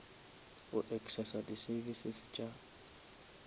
go accessa di services tša